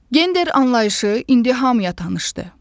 Gender anlayışı indi hamıya tanışdır.